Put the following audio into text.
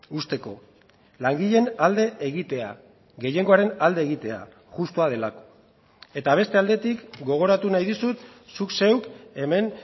uzteko langileen alde egitea gehiengoaren alde egitea justua delako eta beste aldetik gogoratu nahi dizut zuk zeuk hemen